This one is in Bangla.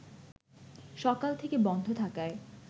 সকাল থেকে বন্ধ থাকায়